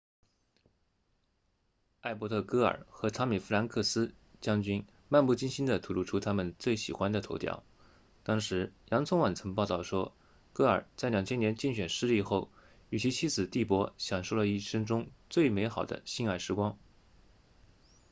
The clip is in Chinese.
艾伯特戈尔和汤米弗兰克斯将军漫不经心地吐露出他们最喜欢的头条当时洋葱网曾报道说戈尔在2000年竞选失利后与其妻子蒂珀享受了一生中最美好的性爱时光